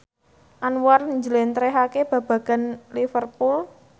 Anwar njlentrehake babagan Liverpool